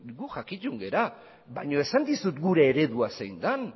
gu jakitun gera baino esan dizut gure eredua zein den